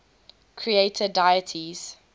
creator deities